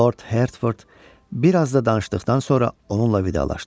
Lord Hertford biraz da danışdıqdan sonra onunla vidalaşdı.